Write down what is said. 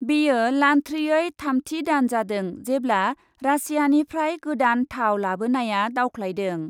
बेयो लान्थ्रियै थामथि दान जादों, जेब्ला रासियानिफ्राय गोदान थाव लाबोनाया दावख्लायदों ।